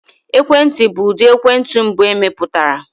Ekwentị bụ ụdị ekwentị mbụ emepụtara.